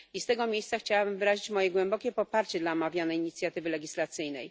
I z tego miejsca chciałabym wyrazić moje głębokie poparcie dla omawianej inicjatywy legislacyjnej.